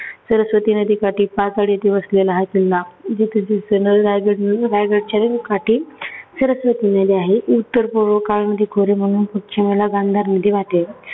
सरस्वती नदीकाठी पाचड येथे वसलेला हा किल्ला रायगड रायगडच्या काठी सरस्वती नदी आहे. उत्तर पूर्ण काळामध्ये खोरे म्हणून पश्चिमेला गांधार नदी वाहते.